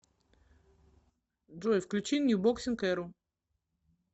джой включи нью боксинг эру